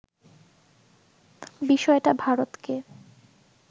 বিষয়টা ভারতকে